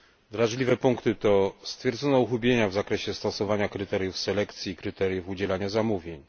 Wrażliwe punkty to stwierdzenie uchybienia w zakresie stosowania kryteriów selekcji i kryteriów udzielania zamówień.